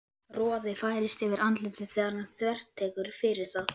Roði færist yfir andlitið þegar hann þvertekur fyrir það.